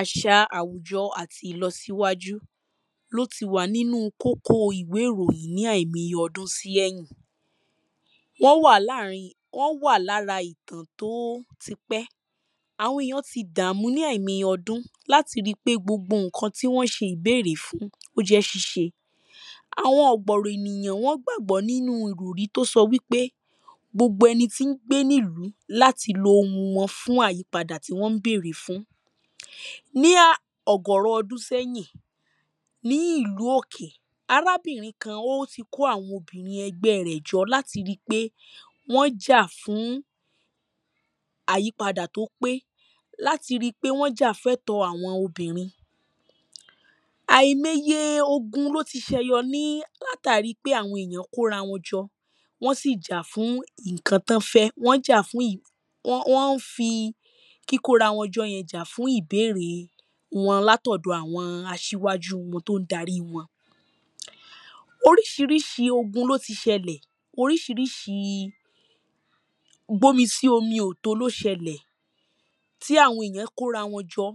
àṣà àwùjọ àti ìlọsíwájú ló ti wà ní kókó ìwé ìròyìn ní àìmoye iye ọdún sí ẹ̀yìn wọ́n wà láàrin, wọ́n wà lára ìtàn tóó ti pẹ́, àwọn èyàn ti dààmú ní àìmoye ọdún láti ríi pé gbogbo ǹkan tí wọ́n ṣe bèrè fún, ó jẹ́ ṣíṣe àwọn ọ̀gbọ̀rọ̀ ènìyàn wọ́n gbàgbọ́ nínú ìròrí tó sọ wípé gbogbo ẹni tí n gbé nílùú láti lo ohun wọn fún àyípadà tí wọ́n ń bèrè fún. ní á ọ̀gọ̀rọ̀ ọdún sẹ́yìn, ní ìlú òkè, arábìnrin kan ó ti kó àwọn obìnrin ẹgbẹ́ rẹ̀ jọ, láti ríi pé wọ́n jà fún àyípadà tó pé láti ríipé wọ́n jà fẹ́tọ̀ọ́ àwọn obìnrin. àìmoye ogun ló ti sẹyọ ní látàríi pé àwọn èyàn kó ra wọn jọ, wọ́n sì jà ǹkan tọ́n fẹ́. wọ́n jà fún ì, wọ́n wọ́n fi kíkó rawọn jọ yẹn jà fún ìbérè wọ́n látọ̀dọ àwọn aṣíwájú wọ́n tón darí wọn oríṣiríṣi ogun ló ti ṣẹlẹ̀, oríṣiríṣi gbọ́nmi síì omi ò tó ló ṣẹlẹ̀ tí àwọn èyàn kó ra wọn jọ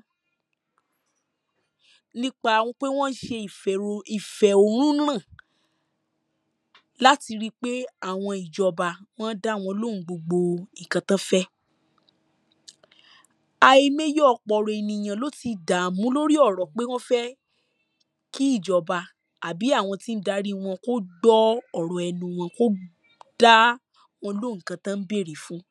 nípa pé wọ́n ṣe ìfẹ̀rò ìfẹ̀rònúnà láti ríi pé àwọn ìjọba wọ́n dáwọn lóhùn gbogbo ǹkan tọ́n fẹ́ àìmeye ọ̀pọ̀rọ̀ ènìyàn ló ti dáàmú lórí ọ̀rọ̀ pé wọ́n fẹ́ kí ìjọbá àbí tí n darí wọn kó gbọ́ ọ̀rọ̀ ẹnu wọn kó dá wọn lóhùn ǹkan tọ́n bèrè fún